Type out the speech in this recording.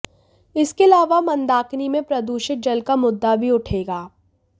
इसके अलावा मंदाकिनी में प्रदूषित जल का मुद्दा भी उठेगा